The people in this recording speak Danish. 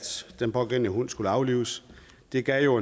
den pågældende hund skulle aflives det gav